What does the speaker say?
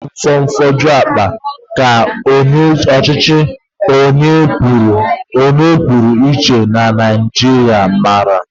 Naanị fonfoju akpa ka ọchịchị onye kwuo uche ya na Naijiria maara